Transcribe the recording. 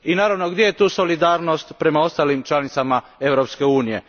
I naravno gdje je tu solidarnost prema ostalim članicama Europske unije?